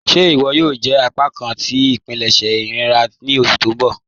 Ṣé iwọ yòò jẹ apákan tí ipilẹṣẹ iria ni oṣù tó n bọ́?